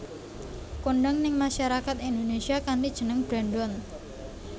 Kondhang ning masyarakat Indonésia kanthi jeneng Brandon